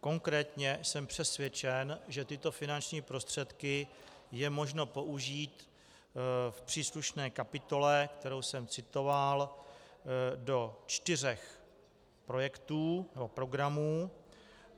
Konkrétně jsem přesvědčen, že tyto finanční prostředky je možno použít v příslušné kapitole, kterou jsem citoval, do čtyř projektů nebo programů.